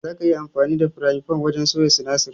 Zaka iya amfani da firayin fan wajen soya sinasir.